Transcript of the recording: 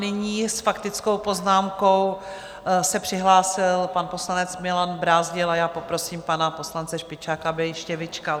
Nyní s faktickou poznámkou se přihlásil pan poslanec Milan Brázdil a já poprosím pana poslance Špičáka, aby ještě vyčkal.